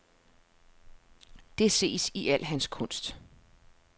Det ses i al hans kunst.